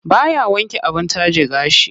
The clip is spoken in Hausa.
Baya wanke abin taje gashi.